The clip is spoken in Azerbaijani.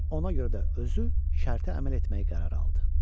Ona görə də özü şərtə əməl etməyi qərarı aldı.